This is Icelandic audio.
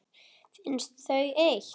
Finnst þau eitt.